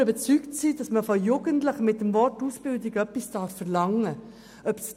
Wir sind überzeugt, dass man von Jugendlichen mit dem Wort Ausbildung etwas verlangen darf.